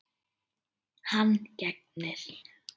Hann gegnir.